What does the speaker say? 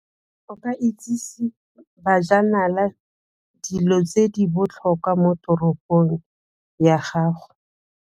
O ka itsise bajanala dilo tse di botlhokwa mo toropong ya gago.